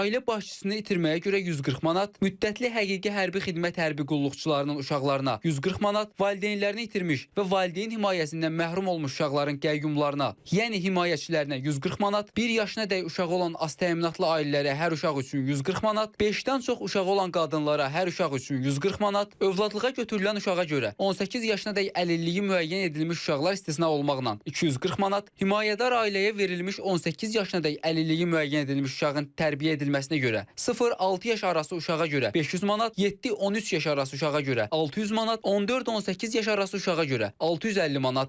Ailə başçısını itirməyə görə 140 manat, müddətli həqiqi hərbi xidmət hərbi qulluqçularının uşaqlarına 140 manat, valideynlərini itirmiş və valideyn himayəsindən məhrum olmuş uşaqların qəyyumlarına, yəni himayəçilərinə 140 manat, bir yaşına dək uşağı olan az təminatlı ailələrə hər uşaq üçün 140 manat, beşdən çox uşağı olan qadınlara hər uşaq üçün 140 manat, övladlığa götürülən uşağa görə 18 yaşına dək əlilliyi müəyyən edilmiş uşaqlar istisna olmaqla 240 manat, himayədar ailəyə verilmiş 18 yaşına dək əlilliyi müəyyən edilmiş uşağın tərbiyə edilməsinə görə 0-6 yaş arası uşağa görə 500 manat, 7-13 yaş arası uşağa görə 600 manat, 14-18 yaş arası uşağa görə 650 manat.